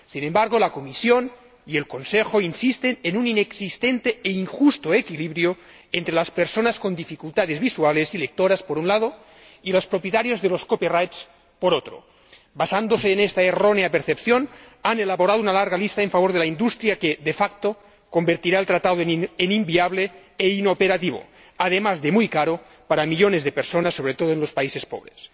Sin embargo, la Comisión y el Consejo insisten en un inexistente e injusto equilibrio entre las personas con dificultades visuales y lectoras, por un lado, y los propietarios de los copyright, por otro. Basándose en esta errónea percepción, han elaborado una larga lista en favor de la industria que, de facto convertirá el Tratado en inviable e inoperativo, además de muy caro para millones de personas, sobre todo en los países pobres.